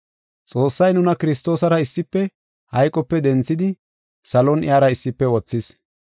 Xoossay nuna Kiristoosara issife hayqope denthidi salon iyara issife wothis.